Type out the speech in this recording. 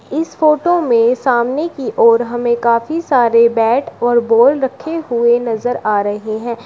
इस फोटो में सामने की ओर हमें काफी सारे बैट और बॉल रखे हुए नजर आ रहे हैं।